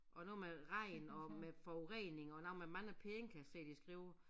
Og noget med regn og med forurening og noget med mange penge kan jeg se de skriver